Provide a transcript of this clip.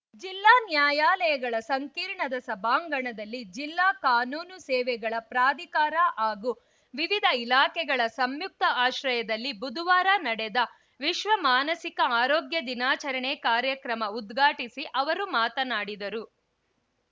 ಜಿಲ್ಲಾ ನ್ಯಾಯಾಲಯಗಳ ಸಂಕೀರ್ಣದ ಸಭಾಂಗಣದಲ್ಲಿ ಜಿಲ್ಲಾ ಕಾನೂನು ಸೇವೆಗಳ ಪ್ರಾಧಿಕಾರ ಹಾಗೂ ವಿವಿಧ ಇಲಾಖೆಗಳ ಸಂಯುಕ್ತ ಆಶ್ರಯದಲ್ಲಿ ಬುದುವಾರ ನಡೆದ ವಿಶ್ವ ಮಾನಸಿಕ ಆರೋಗ್ಯ ದಿನಾಚರಣೆ ಕಾರ್ಯಕ್ರಮ ಉದ್ಘಾಟಿಸಿ ಅವರು ಮಾತನಾಡಿದರು